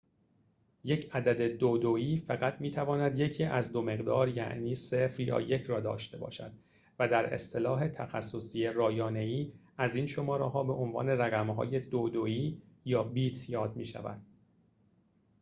یک عدد دودویی فقط می‌تواند یکی از دو مقدار یعنی ۰ یا ۱ را داشته باشد و در اصطلاح تخصصی رایانه‌ای از این شماره‌ها به عنوان رقم‌های دودویی یا بیت یاد می‌شود